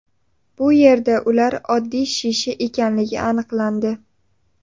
Bu yerda ular oddiy shisha ekanligi aniqlandi.